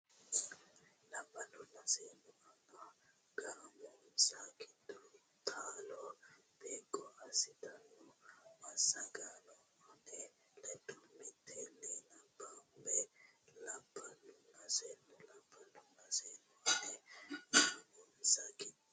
Labballunna seennu ani gaamonsa giddo taalo beeqqo assitanno massaganna ane ledo mitteenni nabbambo Labballunna seennu Labballunna seennu ani gaamonsa giddo.